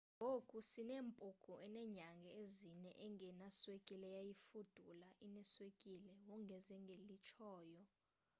ngoku sinempunku enenyanga ezine engenaswekile eyayifudula ineswekile wongeze ngelitshoyo